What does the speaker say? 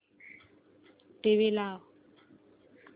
TV लाव